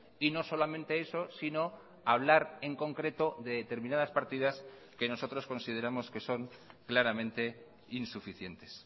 y no solamente eso si no hablar en concreto de determinadas partidas que nosotros consideramos que son claramente insuficientes